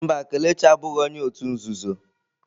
Mba, Kelechi abụghị onye òtù nzuzo.